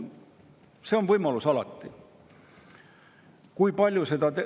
See võimalus on alati.